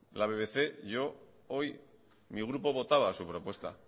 la bbc yo hoy mi grupo votaba su propuesta